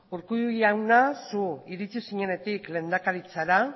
urkullu jauna zu iritsi zinenetik lehendakaritzara